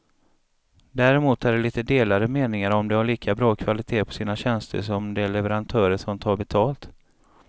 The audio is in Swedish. Däremot är det lite delade meningar om de har lika bra kvalitet på sina tjänster som de leverantörer som tar betalt.